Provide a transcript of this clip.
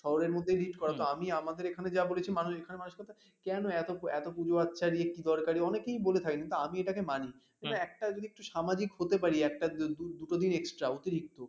শহরের মধ্যে দুরের কথা আমি আমাদের এখানে মানুষের মধ্যে যা দেখেছি এখানে মানুষের কেন এত এত পুজো আচ্ছা কি দরকার অনেকেই বলে থাকে কিন্তু আমি এটাকে মানিনি একটা জিনিস সামাজিক হতে পারি একটা দিনই দুটো দিন extra অতিরিক্ত